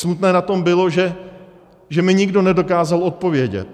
Smutné na tom bylo, že mi nikdo nedokázal odpovědět.